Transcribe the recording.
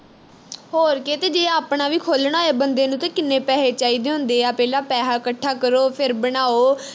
ਹੋਰ ਕਿ ਜੇ ਆਪਣਾ ਵੀ ਖੋਲਣਾ ਹੋਵੇ ਬੰਦੇ ਨੂੰ ਤੇ ਕਿੰਨੇ ਪੈਹੇ ਚਾਹੀਦੇ ਹੁੰਦੇ ਆ ਪਹਿਲਾਂ ਪੈਹਾ ਇਕੱਠਾ ਕਰੋ ਫਿਰ ਬਣਾਓ